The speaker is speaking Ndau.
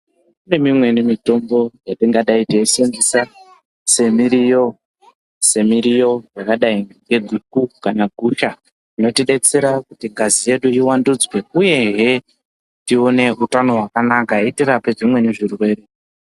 Kuneimweni mitombo yatingadai teisenzesa semiriwo yakadai ngeguku kana gusha inotidersera kuti ngazi yedu iwandudzwe uyehe tive neutano hwakanaka itirape dzimweni zvirwere